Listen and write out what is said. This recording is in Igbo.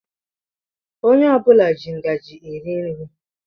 Ònye ọbula jị ngaji eri nri.